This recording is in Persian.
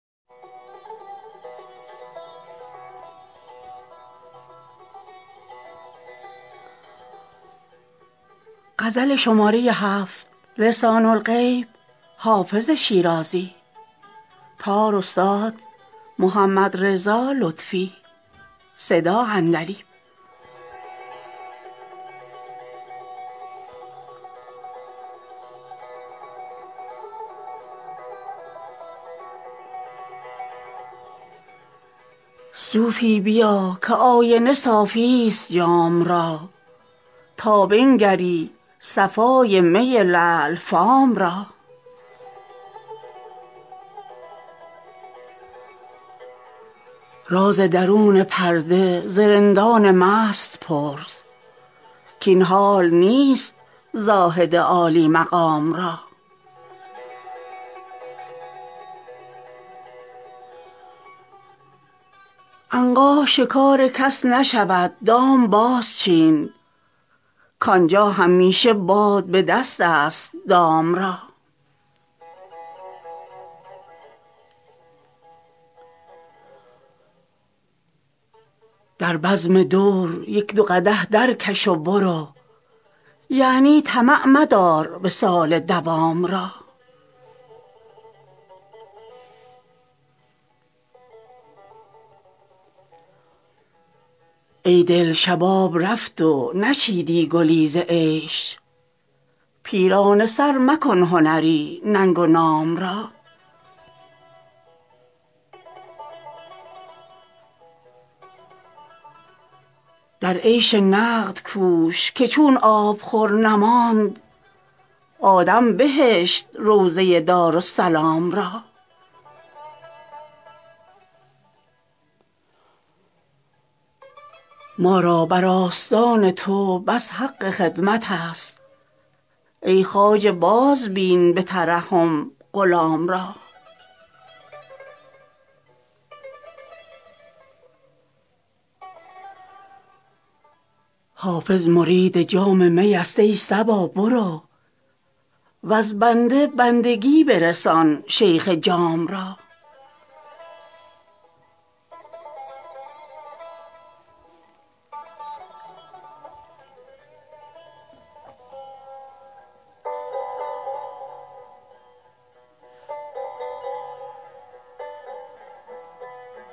صوفی بیا که آینه صافی ست جام را تا بنگری صفای می لعل فام را راز درون پرده ز رندان مست پرس کاین حال نیست زاهد عالی مقام را عنقا شکار کس نشود دام بازچین کآنجا همیشه باد به دست است دام را در بزم دور یک دو قدح درکش و برو یعنی طمع مدار وصال مدام را ای دل شباب رفت و نچیدی گلی ز عیش پیرانه سر مکن هنری ننگ و نام را در عیش نقد کوش که چون آبخور نماند آدم بهشت روضه دارالسلام را ما را بر آستان تو بس حق خدمت است ای خواجه بازبین به ترحم غلام را حافظ مرید جام می است ای صبا برو وز بنده بندگی برسان شیخ جام را